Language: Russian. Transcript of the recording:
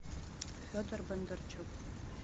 федор бондарчук